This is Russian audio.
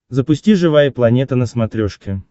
запусти живая планета на смотрешке